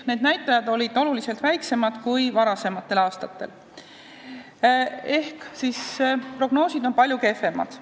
Need näitajad olid oluliselt väiksemad kui varasematel aastatel ehk prognoosid on muutunud palju kehvemaks.